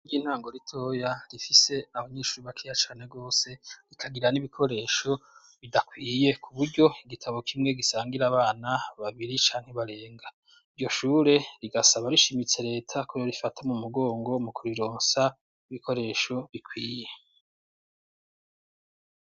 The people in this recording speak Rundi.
Ishure ry'intango ntango ritoya, rifise abanyeshuri bakeya cane gose, rikagira n'ibikoresho bidakwiye, kuburyo igitabo kimwe gisangira abana babiri canke barenga. Iryo shure rigasaba rishimitse leta ko yorifata mu mugongo, mu kurironsa ibikoresho bikwiye.